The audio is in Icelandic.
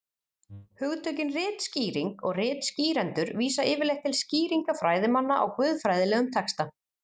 hugtökin ritskýring og ritskýrendur vísa yfirleitt til skýringa fræðimanna á guðfræðilegum texta